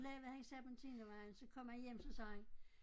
Lavede han Serpentinervejen så kom han hjem så sagde han